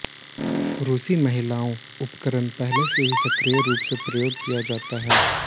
रूसी महिलाओं उपकरण पहले से ही सक्रिय रूप से प्रयोग किया जाता है